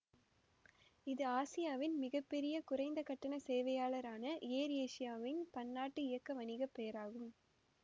இது ஆசியாவின் மிக பெரிய குறைந்த கட்டண சேவையாளரான எயர் ஏசியாவின் பன்னாட்டு இயக்க வணிக பெயராகும்